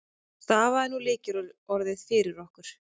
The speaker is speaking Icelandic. Stafaðu nú lykilorðið fyrir okkur.